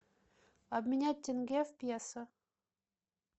обменять тенге в песо